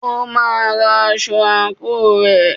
O máa rán aṣọ àǹkóò rẹ̀.